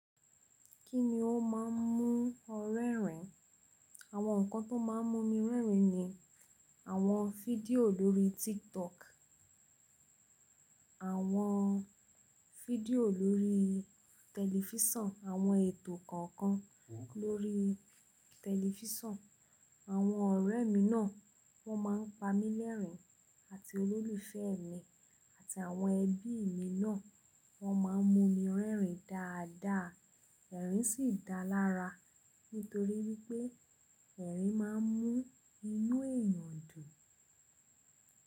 Kíni ó máa ń mú ọ rẹ́rìn? Àwọn nǹkan tó máa ń mú mi rẹ́rìn ni àwọn fídíò lórí TikTok, àwọn fídíò lórí tẹlifíṣàn, àwọn ètò kọ̀ọ̀kan lórí tẹlifíṣàn. Àwọn ọ̀rẹ́ mi náà wọ́n máa ń pa mí lẹ́rìn àti olólùfẹ́ mi àti àwọn ẹbí mi náà wọ́n máa ń mú mi rẹ́rìn dáadáa. Ẹ̀rín sì dáa lára nítorí wípé ẹ̀rín máa ń mú inú èèyàn dùn.